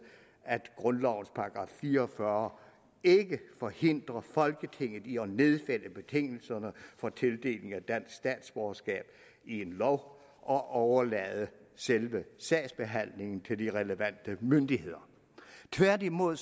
at grundlovens § fire og fyrre ikke forhindrer folketinget i at nedfælde betingelserne for tildeling af dansk statsborgerskab i en lov og overlade selve sagsbehandlingen til de relevante myndigheder tværtimod